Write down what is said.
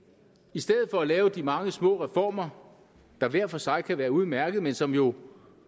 i stedet for at lave de mange små reformer der hver for sig kan være udmærkede men som jo